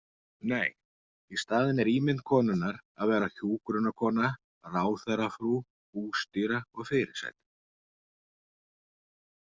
Nei- í staðinn er ímynd konunnar að vera hjúkrunarkona, ráðherrafrú, bústýra og fyrirsæta.